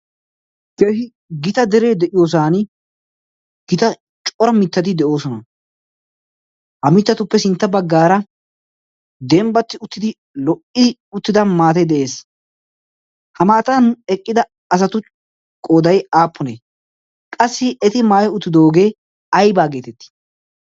keehi gita deree de'iyoosan gita cora mittadi de'oosona. ha mittatuppe sintta baggaara dembbatti uttidi lo'ii uttida maate de'ees' ha maatan eqqida asatu qoodai aapponee qassi eti maayi uttidoogee aibaa geetettii?